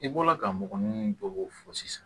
I bɔra ka mɔgɔ minnu bɔ k'o fɔ sisan